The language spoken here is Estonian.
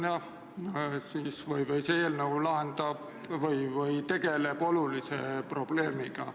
Jah, see eelnõu tegeleb olulise probleemiga.